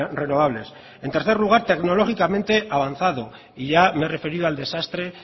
renovables en tercer lugar tecnológicamente avanzado y ya me he referido al desastre